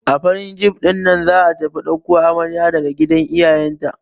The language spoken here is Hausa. A farin jif ɗinnan za'a tafi ɗauko amarya daga gidan iyayen ta.